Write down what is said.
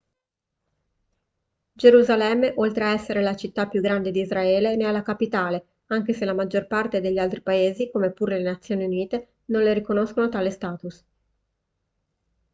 gerusalemme oltre a essere la città più grande di israele ne è la capitale anche se la maggior parte degli altri paesi come pure le nazioni unite non le riconoscono tale status